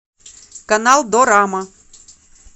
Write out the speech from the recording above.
канал дорама